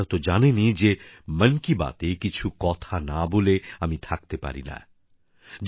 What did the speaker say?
আর আপনারা তো জানেনই যে মন কি বাতএ কিছু কথা না বলে আমি থাকতেই পারিনা